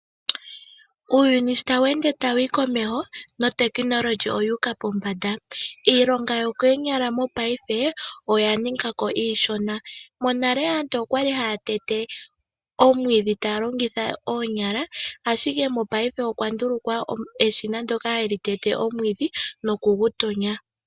Uuyuni sho tawu ende tawu yi komeho nuutekinolohi owuuka pombanda. Iilonga yokonyala mopaife oyaninga ko iishona. Monale aantu okwali haya tete omwiidhi taya longitha oonyala. Ashike mopaife okwa ndulukwa eshina ndyoka hali tete omwiidhi nokugu Tonya.